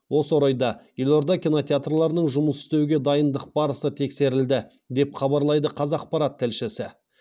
осы орайда елорда кинотеатрларының жұмыс істеуге дайындық барысы тексерілді деп хабарлайды қазақпарат тілшісі